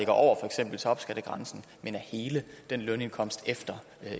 over for eksempel topskattegrænsen men af hele lønindkomsten efter